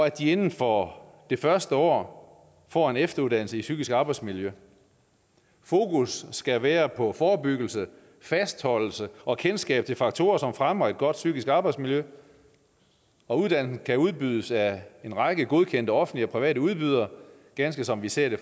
at de inden for det første år får en efteruddannelse i psykisk arbejdsmiljø fokus skal være på forebyggelse fastholdelse og kendskab til faktorer som fremmer et godt psykisk arbejdsmiljø og uddannelsen kan udbydes af en række godkendte offentlige og private udbydere ganske som vi ser det